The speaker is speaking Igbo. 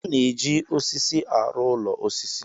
A na-eji osisi arụ ụlọ osisi.